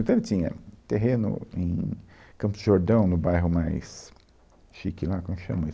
Então, ele tinha terreno em Campos de Jordão, no bairro mais chique lá, como é que chama?